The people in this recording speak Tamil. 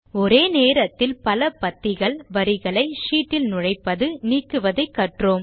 ஒரே நேரத்தில் பல பத்திகள் வரிகளை ஷீட் இல் நுழைப்பது நீக்குவதை கற்றோம்